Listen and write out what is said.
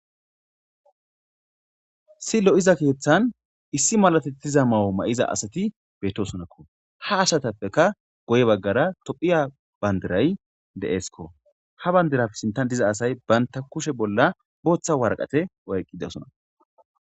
Issi lo'iza keeththan issi malatettiza mawo ma'iza asati bettosonakko ha asatappeka goye baggara tophiya bandiray de'eskko ha bandiraf sintan diza asay banta kushe bolla booththa warqate oyqqidasona.